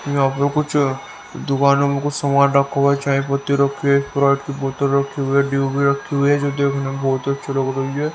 यहां पे कुछ दुकानों में कुछ सामान रखा हुआ चाय पत्ती रखी स्प्राइट की बोतल रखी हुई है डीयू भी रखी हुई है जो देखने में बहुत अच्चे लग रही हैं।